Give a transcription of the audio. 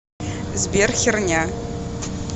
сбер херня